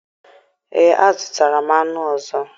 Ee, azụtara m anụ ọzọ